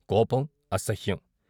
కోపం అసహ్యం.